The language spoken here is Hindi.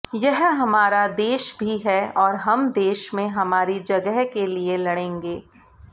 यह हमारा देश भी है और हम देश में हमारी जगह के लिए लड़ेंगे